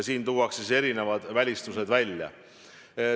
Siin tuuakse erinevad välistused välja.